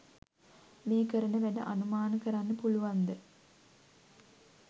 මේ කරන වැඩ අනුමත කරන්න පුළුවන්ද?